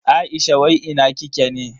Aisha wai ina kike ne?